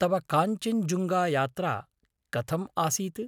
तव काञ्चेञ्जुङ्गायात्रा कथम् आसीत्?